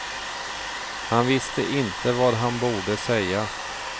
Han visste inte vad han borde säga.